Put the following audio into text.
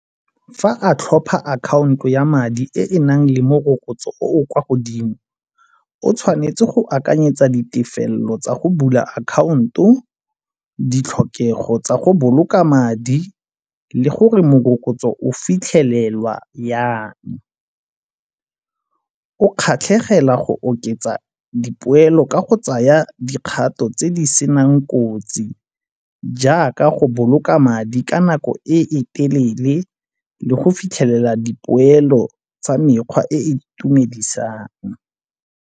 Fa a tlhopha akhaonto ya madi e e nang le morokotso o o kwa godimo o tshwanetse go akanyetsa ditefelelo tsa go bula akhaonto, ditlhokego tsa go boloka madi le gore morokotso o fitlhelelwa yang. O kgatlhegela go oketsa dipoelo ka go tsaya dikgato tse di senang kotsi jaaka go boloka madi ka nako e e telele le go fitlhelela dipoelo tsa mekgwa e e itumedisang.